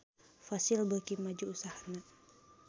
Fossil beuki maju usahana